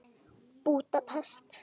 Búdapest